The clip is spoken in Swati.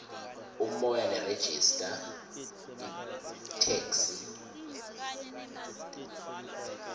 umoya nerejista itheksthi